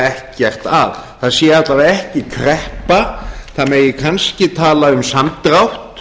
ekkert að það sé alla vega ekki kreppa það megi kannski tala um samdrátt